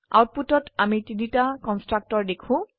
আউটপুটত আমি তিনটা কন্সট্ৰকটৰ দেখো